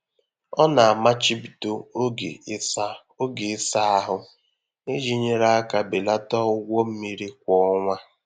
Ọ na-amachibido oge ịsa oge ịsa ahụ iji nyere aka belata ụgwọ mmiri kwa ọnwa.